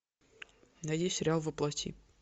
найди сериал во плоти